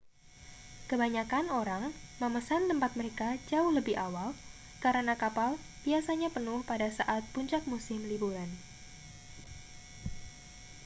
kebanyakan orang memesan tempat mereka jauh lebih awal karena kapal biasanya penuh pada saat puncak musim liburan